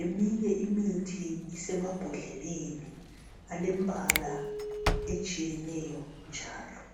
eminye imithi isemabhodleleni alembala etshiyeneyo njalo.